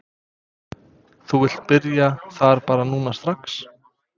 Þú vilt byrja þar bara núna strax?